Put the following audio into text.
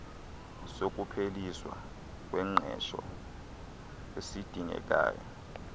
sokupheliswa kwengqesho esidingekayo